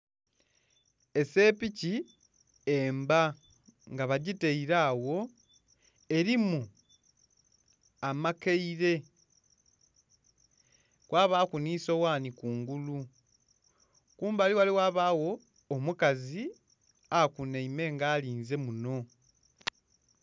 Esepiki emba nga bagitaile agho elimu amakaile kwabaaku nhi soghani kungulu. Kumbali ghale ghabagho omukazi akunhaime nga alinze munho.